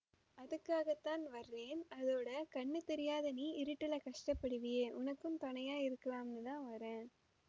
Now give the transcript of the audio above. அதுக்காகத்தான் வர்ரேன் அதோட கண்ணு தெரியாத நீ இருட்டிலே கஷ்டப்படுவியே உனக்கும் தொணையா இருக்கலாம்னுதான் வர்ரேன்